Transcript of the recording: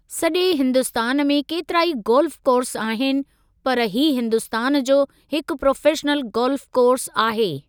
सॼे हिन्दुस्तान में केतिराई गोल्फ़ कोर्स आहिनि, पर ही हिन्दुस्तान जो हिकु प्रोफ़ेशनल गोल्फ़ कोर्स आहे।